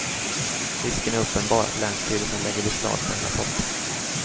Risken är uppenbar att länsstyrelsen lägger beslag på hela potten.